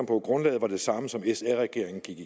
på at grundlaget var det samme som sr regeringen gik